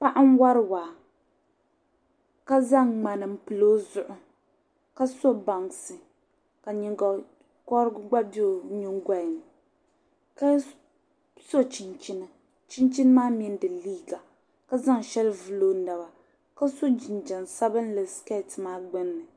paɣa n-wari waa ka zaŋ ŋmani m-pili o zuɣu ka so bansi ka nyiŋgɔkɔri gba be o nyiŋgɔli ni ka so chinchini chinchini maa mini di liiga ka zaŋ shɛli vuli o naba ka so jinjɛm sabinlli sikɛɛti maa gbunni